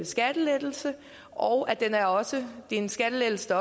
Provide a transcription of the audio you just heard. skattelettelse og at det også er en skattelettelse